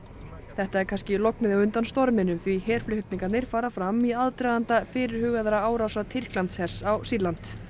þetta er kannski lognið á undan storminum því fara fram í aðdraganda fyrirhugaðra árása Tyrklandshers á Sýrland